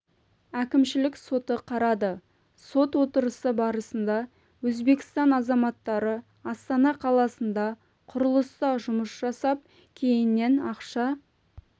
әкімшілік соты қарады сот отырысы барысында өзбекстан азаматтары астана қаласында құрылыста жұмыс жасап кейіннен ақша